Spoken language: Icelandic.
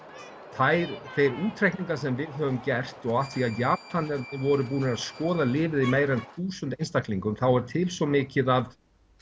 þeir útreikningar sem við höfum gert og af því að Japanir voru búnir að skoða lyfið á meira en þúsund einstaklingum þá er til svo mikið af